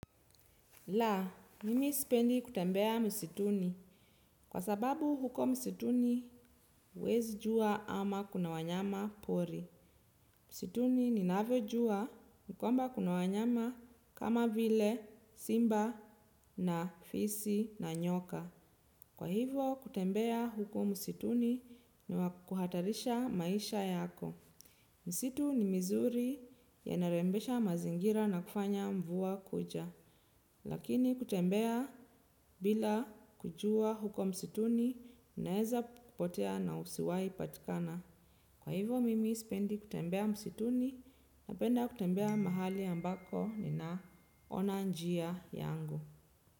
La, mimi sipendi kutembea msituni. Kwa sababu huko msituni, huwezi jua ama kuna wanyama pori. Msituni ni navyo jua, nikwamba kuna wanyama kama vile, simba, na fisi, na nyoka. Kwa hivo, kutembea huko msituni ni wakuhatarisha maisha yako. Msitu ni mizuri ya narembesha mazingira na kufanya mvua kuja. Lakini kutembea bila kujua huko msituni unaeza kupotea na usiwai kupatikana. Kwa hivyo mimi sipendi kutembea msituni, napenda kutembea mahali ambako nina ona njia yangu.